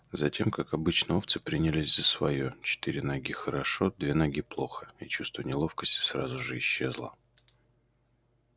затем как обычно овцы принялись за своё четыре ноги хорошо две ноги плохо и чувство неловкости сразу же исчезло